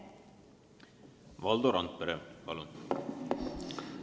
Valdo Randpere, palun!